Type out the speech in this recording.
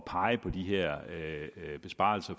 pege på de her besparelser